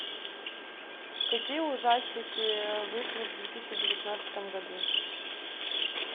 какие ужастики вышли в две тысячи девятнадцатом году